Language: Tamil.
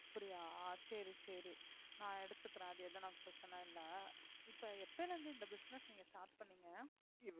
அப்படியா சரி சரி நான் எடுத்துக்கிறேன் அது எதுனா பிரச்னை இல்ல இப்ப எப்பல இருந்து இந்த business நீங்க start பண்ணீங்க